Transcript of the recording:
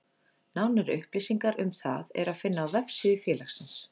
Nánari upplýsingar um það er að finna á vefsíðu félagsins.